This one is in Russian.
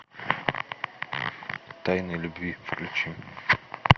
тайны любви включи